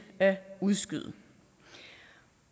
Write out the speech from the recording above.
at udskyde